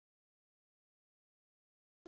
Hvað tefur framkvæmd þess?